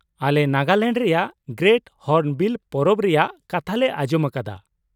ᱟᱞᱮ ᱱᱟᱜᱟᱞᱮᱱᱰ ᱨᱮᱭᱟᱜ great hornbill ᱯᱚᱨᱚᱵᱽ ᱨᱮᱭᱟᱜ ᱠᱟᱛᱷᱟ ᱞᱮ ᱟᱸᱡᱚᱢ ᱟᱠᱟᱫᱟ ᱾